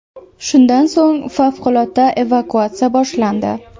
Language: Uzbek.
Shundan so‘ng favqulodda evakuatsiya boshlandi.